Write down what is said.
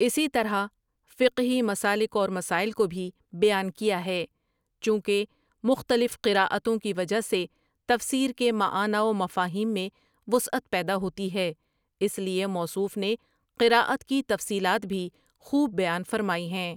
اسی طرح فقہی مسالک اور مسائل کو بھی بیان کیاہے، چونکہ مختلف قرأ توں کی وجہ سے تفسیر کے معانی ومفاہیم میں وسعت پیدا ہوتی ہے اس لیے موصوف نے قرأ ت کی تفصیلات بھی خوب بیان فرمائی ہیں۔